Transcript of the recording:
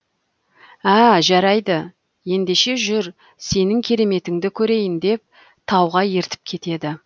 ә жарайды ендеше жүр сенің кереметіңді көрейін деп тауға ертіп кетеді